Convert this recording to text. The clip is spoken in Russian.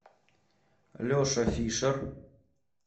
леша фишер